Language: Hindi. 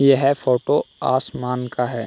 यह फोटो आसमान का है।